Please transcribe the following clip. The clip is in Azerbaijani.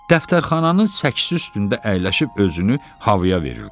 Dəftərxananın səksisi üstündə əyləşib özünü havaya verildi.